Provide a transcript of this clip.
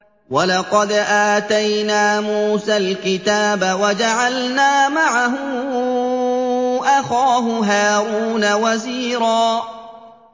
وَلَقَدْ آتَيْنَا مُوسَى الْكِتَابَ وَجَعَلْنَا مَعَهُ أَخَاهُ هَارُونَ وَزِيرًا